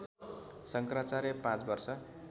शङ्कराचार्य पाँच वर्ष